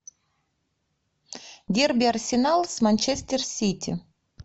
дерби арсенал с манчестер сити